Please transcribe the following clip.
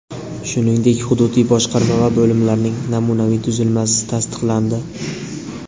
shuningdek hududiy boshqarma va bo‘limlarining namunaviy tuzilmasi tasdiqlandi.